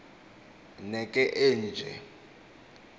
ne ke eenje